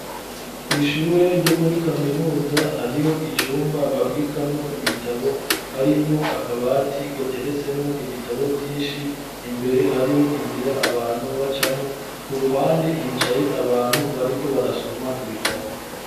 Kw'ishure ryo muri kaminuza hariho icumba babikamwo ibitabo harimwo akabati gateretsemwo ibitabo vyinshi imbere hariho inzira abantu bacamwo ku ruhande hicaye abantu bariko barasoma ibitabo.